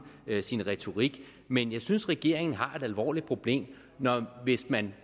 sin retorik men jeg synes regeringen har et alvorligt problem hvis man